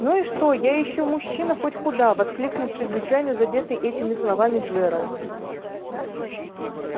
ну и что я ещё мужчина хоть куда воскликнул чрезвычайно задетый этими словами джералд